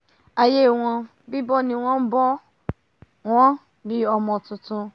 aiyé wọ́n bíbọ́ ni wọ́n bọ́ wọn bi ọmọ tuntun